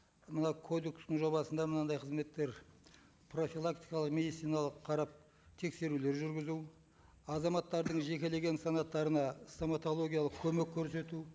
мына кодекстің жобасында мынандай қызметтер профилактикалық медициналық қарап тексерулер жүргізу азаматтардың жекелеген санаттарына стоматологиялық көмек көрсету